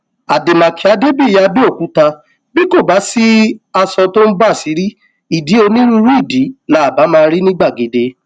àdèmàkè adébíyì abẹọkúta bí kò bá sí aṣọ tó ń bàṣìrí ìdí onírúurú ìdí là bá máa rí ní gbàgede